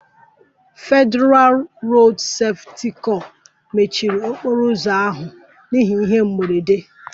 Federalụ Rodu Sefuti kor mechiri okporo ụzọ ahụ n'ihi ihe mberede